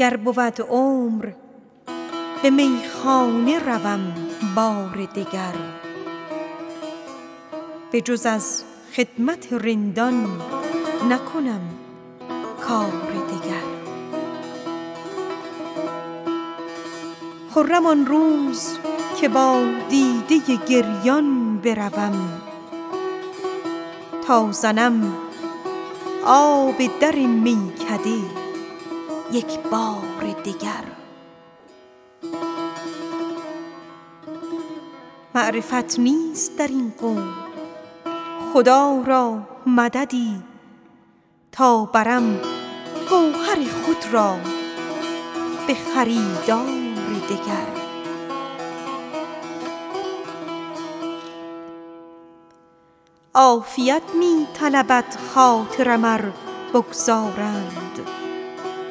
گر بود عمر به میخانه رسم بار دگر بجز از خدمت رندان نکنم کار دگر خرم آن روز که با دیده گریان بروم تا زنم آب در میکده یک بار دگر معرفت نیست در این قوم خدا را سببی تا برم گوهر خود را به خریدار دگر یار اگر رفت و حق صحبت دیرین نشناخت حاش لله که روم من ز پی یار دگر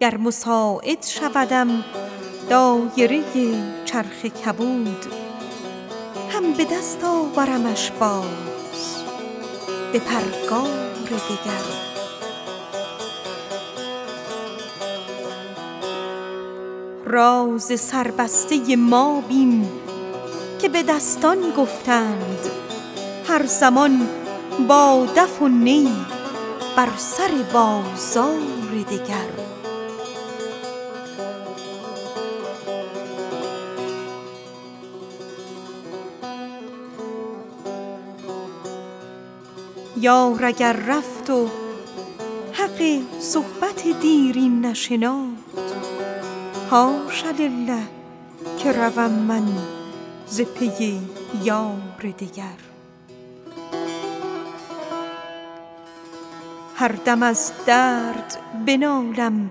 گر مساعد شودم دایره چرخ کبود هم به دست آورمش باز به پرگار دگر عافیت می طلبد خاطرم ار بگذارند غمزه شوخش و آن طره طرار دگر راز سربسته ما بین که به دستان گفتند هر زمان با دف و نی بر سر بازار دگر هر دم از درد بنالم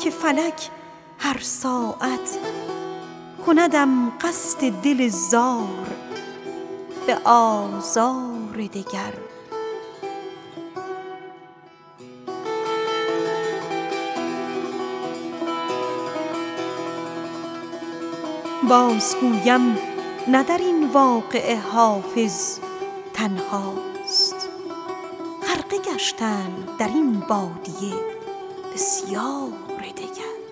که فلک هر ساعت کندم قصد دل ریش به آزار دگر بازگویم نه در این واقعه حافظ تنهاست غرقه گشتند در این بادیه بسیار دگر